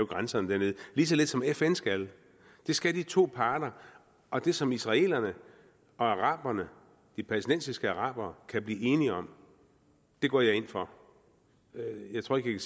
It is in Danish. grænserne dernede lige så lidt som fn skal det skal de to parter og det som israelerne og araberne de palæstinensiske arabere kan blive enige om går jeg ind for jeg tror ikke